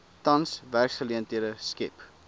tans werksgeleenthede skep